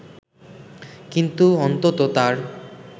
কিন্তু অন্তত তার